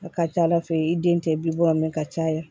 A ka ca ala fɛ i den tɛ bi wɔɔrɔ mɛ ka caya